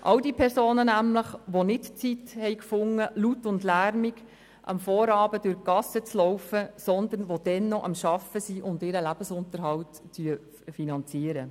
Es geht mir um all jene Personen, die nicht die Zeit finden, am Vorabend laut und lärmend durch die Gassen zu gehen, sondern dann noch am Arbeiten sind, um ihren Lebensunterhalt zu finanzieren.